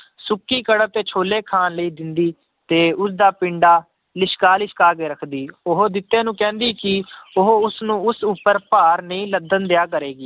ਸੁੱਕੀ ਕਣਕ ਤੇ ਛੋਲੇ ਖਾਣ ਲਈ ਦਿੰਦੀ, ਤੇ ਉਸਦਾ ਪਿੰਡਾ ਲਿਸ਼ਕਾ ਲਿਸ਼ਕਾ ਕੇ ਰੱਖਦੀ ਉਹ ਜਿੱਤੇ ਨੂੰ ਕਹਿੰਦੀ ਕਿ ਉਹ ਉਸਨੂੰ ਉਸ ਉੱਪਰ ਭਾਰ ਨਹੀਂ ਲੱਦਣ ਦਿਆ ਕਰੇਗੀ